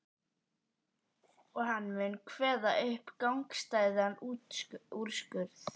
Þó ekki væri nema til að veita þeim félagsskap.